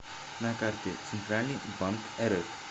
на карте центральный банк рф